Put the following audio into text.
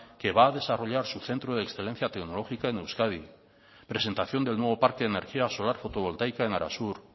que va a desarrollar su centro de excelencia tecnológica en euskadi presentación del nuevo parque de energía solar fotovoltaica en arasur